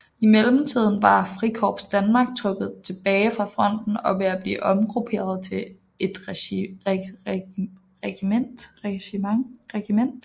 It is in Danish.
I mellemtiden var Frikorps Danmark trukket tilbage fra fronten og ved at blive omgrupperet til et regiment